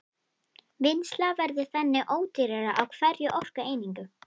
Vinnsla verður þannig ódýrari á hverja orkueiningu.